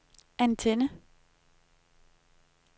antenne